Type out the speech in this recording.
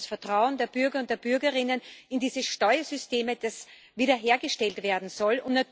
Es geht um das Vertrauen der Bürger und der Bürgerinnen in diese Steuersysteme, das wiederhergestellt werden soll.